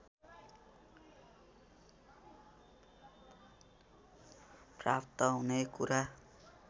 प्राप्त हुने कुरा